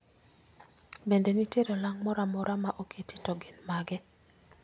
Bende nitiere olang' moro amora ma oketi to gin mage